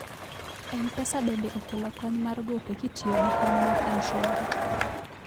mpesa bende okelo kony mar gope kitiyogi kony mar mshwari